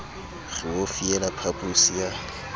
re o fiela phaposi ya